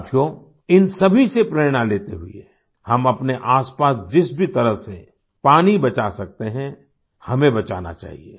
साथियों इन सभी से प्रेरणा लेते हुए हम अपने आसपास जिस भी तरह से पानी बचा सकते हैं हमें बचाना चाहिए